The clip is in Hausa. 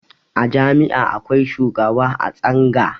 A jami'a akwai shugaba a tsanga